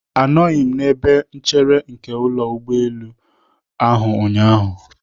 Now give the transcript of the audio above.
Anọghị m n'ebe nchere nke ụlọ ụgbọelu ahụ ụnyaahụ.